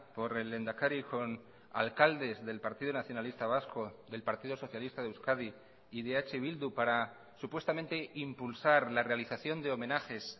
por el lehendakari con alcaldes del partido nacionalista vasco del partido socialista de euskadi y de eh bildu para supuestamente impulsar la realización de homenajes